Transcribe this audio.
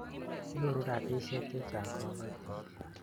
Nyoru rapisyek che chang' kapatik